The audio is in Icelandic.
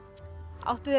áttu þér